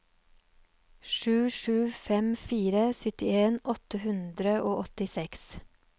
sju sju fem fire syttien åtte hundre og åttiseks